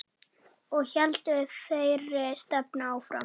Og héldum þeirri stefnu áfram.